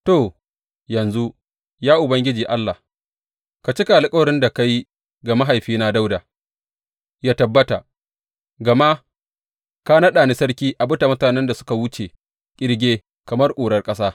To, yanzu, ya Ubangiji Allah, ka cika alkawarin da ka yi ga mahaifina Dawuda yă tabbata, gama ka naɗa ni sarki a bisa mutanen da suka wuce ƙirge kamar ƙurar ƙasa.